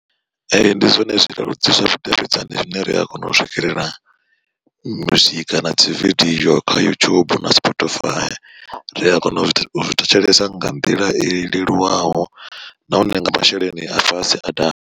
Ee ndi zwone zwileludzi zwa vhudavhidzani zwine ri a kona u swikelela muzika na dzividiyo kha YouTube na Spotify, ri a kona u zwi thetshelesa nga nḓila i leluwaho nahone nga masheleni a fhasi a da.